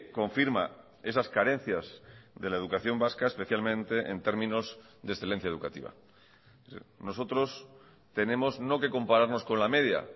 confirma esas carencias de la educación vasca especialmente en términos de excelencia educativa nosotros tenemos no que compararnos con la media